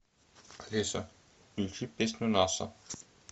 алиса включи песню наса